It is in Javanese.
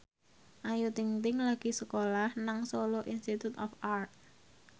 Ayu Ting ting lagi sekolah nang Solo Institute of Art